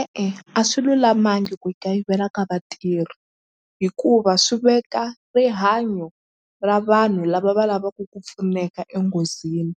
E-e a swi lulamangi ku kayivela ka vatirhi hikuva swi veka rihanyo ra vanhu lava va lavaku ku pfuneka enghozini